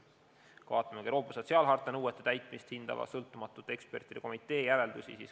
Vaatame ka Euroopa sotsiaalharta nõuete täitmist hindava sõltumatute ekspertide komitee järeldusi.